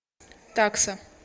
такса